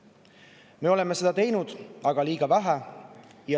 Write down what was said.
Me oleme seda teinud, aga liiga vähe.